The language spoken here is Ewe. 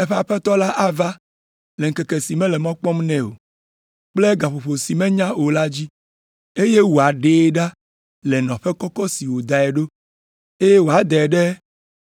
eƒe aƒetɔ ava le ŋkeke si mele mɔ kpɔm nɛ o kple gaƒoƒo si menya o la dzi, eye wòaɖee ɖa le nɔƒe kɔkɔ si wòdae ɖo, eye wòadae ɖe